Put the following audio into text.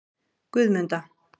Guðmunda